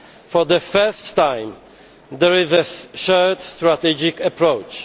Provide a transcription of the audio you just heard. For the first time, there is a shared strategic approach'.